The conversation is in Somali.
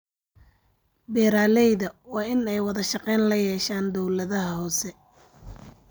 Beeralayda waa in ay wada shaqayn la yeeshaan dawladaha hoose.